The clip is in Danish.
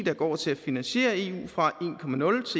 går til at finansiere eu fra